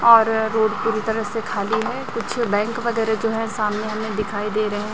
और रोड पूरी तरह से खाली है कुछ बैंक वगैरे जो है सामने हमें दिखाई दे रहे--